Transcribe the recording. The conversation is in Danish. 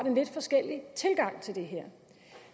en lidt forskellig tilgang til det her